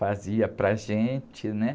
Fazia para a gente, né?